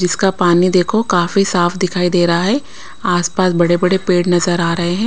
जिसका पानी देखो काफी साफ दिखाई दे रहा है आसपास बड़े-बड़े पेड़ नजर आ रहे हैं।